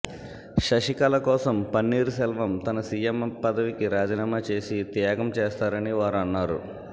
శశికళ కోసం పన్నీర్ సెల్వం తన సీఎం పదవికి రాజీనామా చేసి త్యాగం చేస్తారని వారు అన్నారు